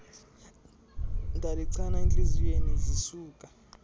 ndalichana entliziyweni zisuka